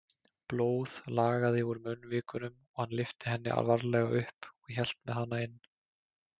Blóð lagaði úr munnvikunum og hann lyfti henni varlega upp og hélt með hana inn.